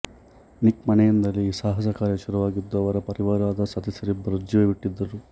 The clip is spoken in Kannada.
ನಿಕ್ ಮನೆಯಿಂದಲೇ ಈ ಸಾಹಸ ಕಾರ್ಯ ಶುರುವಾಗಿದ್ದು ಅವರ ಪರಿವಾರದ ಸದಸ್ಯರಿಬ್ಬರು ಜೀವ ಬಿಟ್ಟಿದ್ದರು